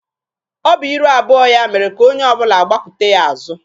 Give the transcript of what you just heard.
Ọ bụ iru abụọ ya mere ka onye ọbụla gbakwute ya azụ.